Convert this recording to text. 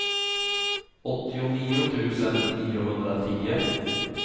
åttionio tusen niohundratio